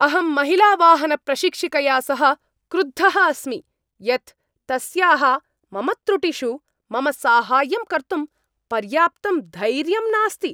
अहं महिलावाहनप्रशिक्षिकया सह क्रुद्धः अस्मि यत् तस्याः मम त्रुटिषु मम साहाय्यं कर्तुं पर्याप्तं धैर्यं नास्ति।